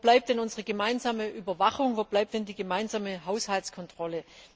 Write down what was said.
Wo bleibt denn unsere gemeinsame Überwachung, wo bleibt denn die gemeinsame Haushaltskontrolle?